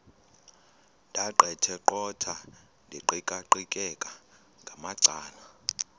ndaqetheqotha ndiqikaqikeka ngamacala